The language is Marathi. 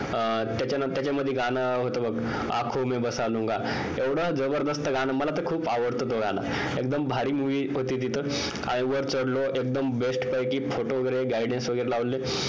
त्याच्यामध्ये गाणं होत बघ आँखो मे बस लुंगा एवढं जबरदस्त गाणं होत मला तर खूप आवडत तो गाणं एकदम भारी movie होती ती तर आणि वर चढलो एकदम best पैकी photo वगैरे guidance वगैरे लावले